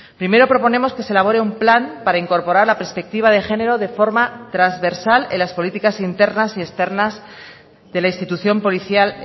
primero proponemos que se elabore un plan para incorporar la perspectiva de género de forma transversal en las políticas internas y externas de la institución policial